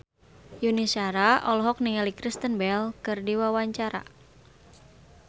Yuni Shara olohok ningali Kristen Bell keur diwawancara